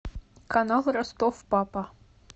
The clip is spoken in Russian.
канал ростов папа